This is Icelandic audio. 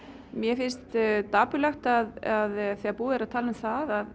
mér finnst dapurlegt að þegar búið er að tala um það